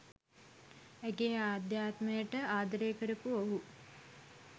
ඇගේ ආධ්‍යාත්මයට ආදරය කරපු ඔහු